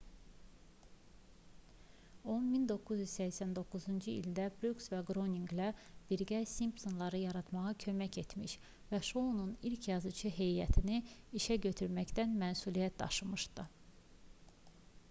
o 1989-cu ildə bruks və qryoninqlə birgə simpsonları yaratmağa kömək etmiş və şounun ilk yazıçı heyətini işə götürməkdən məsuliyyət daşımışdı